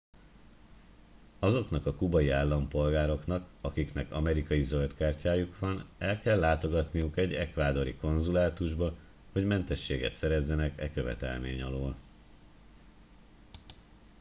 azoknak a kubai állampolgároknak akiknek amerikai zöld kártyájuk van el kell látogatniuk egy ecuadori konzulátusba hogy mentességet szerezzenek e követelmény alól